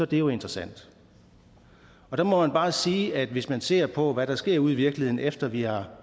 det jo interessant der må man bare sige at hvis man ser på hvad der sker ude i virkeligheden efter at vi har